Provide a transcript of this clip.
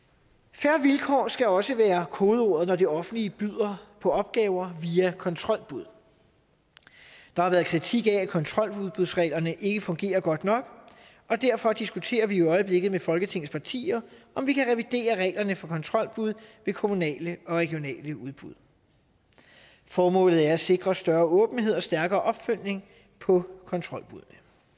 fair vilkår skal også være kodeordet når det offentlige byder på opgaver via kontrolbud der har været kritik af at kontroludbudsreglerne ikke fungerer godt nok og derfor diskuterer vi i øjeblikket med folketingets partier om vi kan revidere reglerne for kontrolbud ved kommunale og regionale udbud formålet er at sikre større åbenhed og stærkere opfølgning på kontrolbuddene